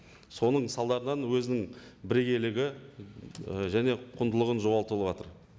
соның салдарынан өзінің бірегейлігі і және құндылығын жоғалтып алып отыр